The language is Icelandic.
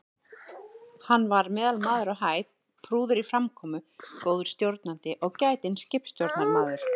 Hann var meðalmaður á hæð, prúður í framkomu, góður stjórnandi og gætinn skipstjórnarmaður.